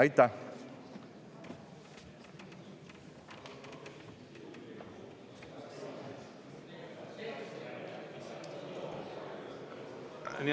Aitäh!